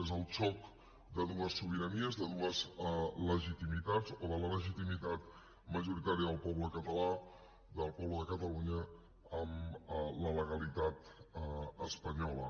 és el xoc de dues sobiranies de dues legitimitats o de la legitimitat majoritària del poble català del poble de catalunya amb la legalitat espanyola